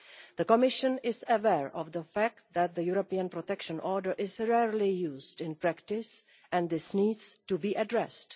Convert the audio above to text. The Commission is aware of the fact that the European Protection Order is rarely used in practice, and this needs to be addressed.